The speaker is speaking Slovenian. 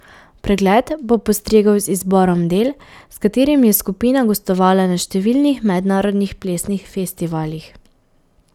Pregled bo postregel z izborom del, s katerimi je skupina gostovala na številnih mednarodnih plesnih festivalih.